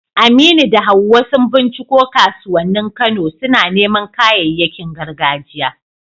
Aminu da Hawwa sun binciko kasuwannin Kano, suna neman kayayyakin gargajiya.